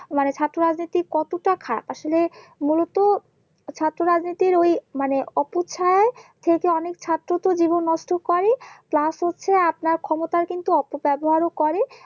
মানে ছাত্র রাজনীতি কতটা আসলে মূলত ছাত্র রাজনীতির ওই মানে অপছায়া থেকে অনেক ছাত্র তো জীবন নষ্ট করেই Plus হচ্ছে আপনার ক্ষমতার কিন্তু অপব্যবহারও করে